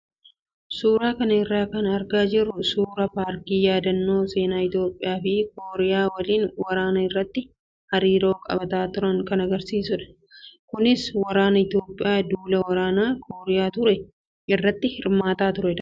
Suuraa kana irraa kan argaa jirru suuraa paarkii yaadannoo seenaa Itoophiyaa fi Kooriyaa waliin waraana irratti hariiroo qabaataa turan kan agarsiisudha. Kunis waraanni Itoophiyaa duula waraanaa Kooriyaa ture irratti hirmaatee ture.